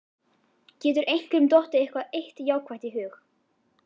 Getur einhverjum dottið eitthvað eitt jákvætt í hug?